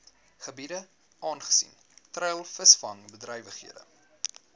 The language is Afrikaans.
gebiede aangesien treilvisvangbedrywighede